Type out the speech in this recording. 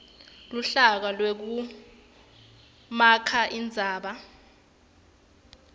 luhlaka lwekumakha indzaba